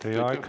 Teie aeg!